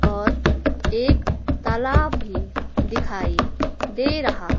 और एक तालाब भी दिखाई दे रहा--